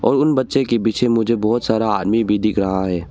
और उन बच्चे के पीछे मुझे बहुत सारा आदमी भी दिख रहा है।